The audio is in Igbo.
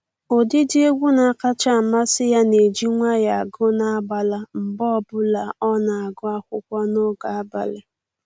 Ụdịdị egwu na-akacha amasị ya na-eji nwayọọ agụ n'agbala mgbe ọbụla ọ na-agụ akwụkwọ n'oge abalị